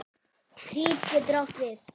Krít getur átt við